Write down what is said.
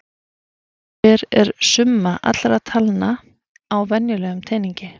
Hver er summa allra talna á venjulegum teningi?